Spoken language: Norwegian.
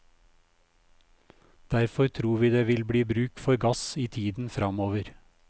Derfor tror vi det vil bli bruk for gass i tiden framover.